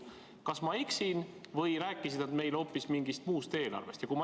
Kas ma eksin või rääkisid nad meile hoopis mingist muust eelarvest?